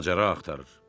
Macəra axtarır.